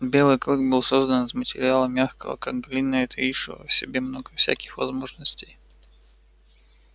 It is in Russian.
белый клык был создан из материала мягкого как глина и таившего в себе много всяких возможностей